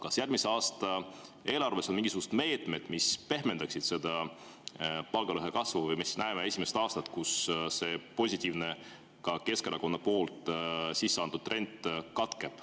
Kas järgmise aasta eelarves on mingisugused meetmed, mis pehmendavad palgalõhe kasvu, või näeme esimest aastat, kus see positiivne trend, millele andis ka Keskerakond hoo sisse, katkeb?